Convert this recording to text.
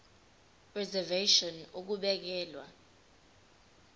reservation ngur ukubekelwa